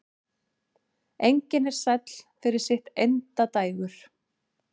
Engin er sæll fyrir sitt endadægur.